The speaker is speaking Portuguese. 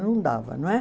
Não dava, não é?